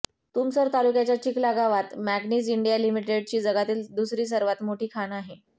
तुमसर तालुक्याच्या चिखला गावात manganese India लिमिटेडची जगातील दुसरी सर्वात मोठी खाण आहे